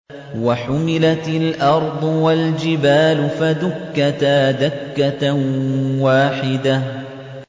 وَحُمِلَتِ الْأَرْضُ وَالْجِبَالُ فَدُكَّتَا دَكَّةً وَاحِدَةً